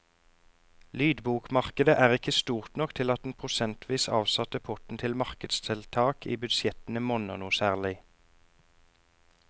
Lydbokmarkedet er ikke stort nok til at den prosentvis avsatte potten til markedstiltak i budsjettene monner noe særlig.